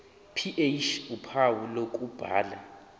ph uphawu lokubhala